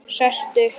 Sest upp.